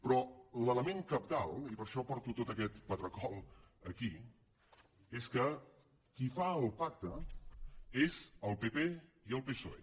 però l’element cabdal i per això porto tot aquest patracol aquí és que qui fa el pacte és el pp i el psoe